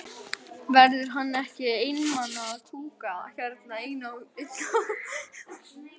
Marteinn, kveiktu á sjónvarpinu.